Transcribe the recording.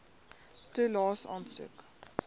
toelaes aansoek